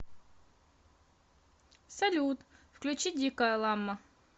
салют включи дикая ламма